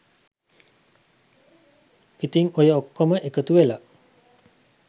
ඉතින් ඔය ඔක්කොම එකතුවෙලා